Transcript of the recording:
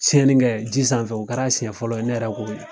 siyɛni kɛ ji sanfɛ o kɛra siɲɛ fɔlɔ ye ne yɛrɛ k'o ye